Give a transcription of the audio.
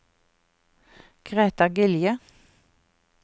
Greta Gilje